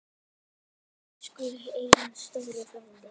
Elsku Einar stóri frændi.